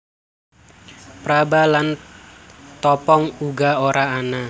Praba lan topong uga ora ana